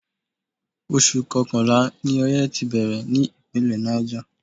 Oṣù Kọkànlá ni oye ti bẹ̀rẹ̀ ní Ìpínlẹ̀ Niger.